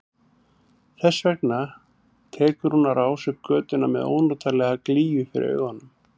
Þess vegna tekur hún á rás upp götuna með ónotalega glýju fyrir augunum.